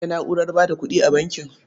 Akwai na'urar ba da kuɗi a bankin.